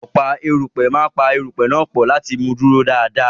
Ọ̀pá erùpẹ̀ máa pa àwọn erùpẹ̀ náà pọ̀ láti mú un dúró dáradára.